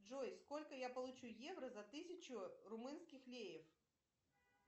джой сколько я получу евро за тысячу румынских леев